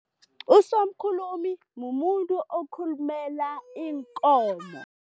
Usomkhulumi mumuntu okhulumela iinkomo.